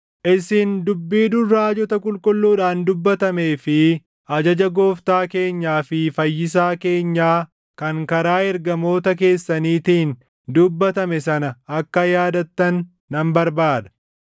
Isin dubbii dur raajota qulqulluudhaan dubbatamee fi ajaja Gooftaa keenyaa fi Fayyisaa keenyaa kan karaa ergamoota keessaniitiin dubbatame sana akka yaadattan nan barbaada.